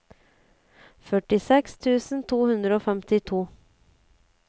førtiseks tusen to hundre og femtito